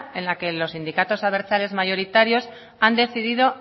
en la que los sindicatos abertzales mayoritarios han decidido